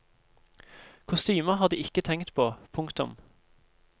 Kostymer har de ikke tenkt på. punktum